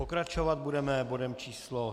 Pokračovat budeme bodem číslo